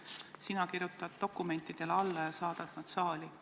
Sina kirjutad dokumentidele alla ja saadad need saali.